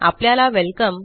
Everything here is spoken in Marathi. आपल्याला वेलकम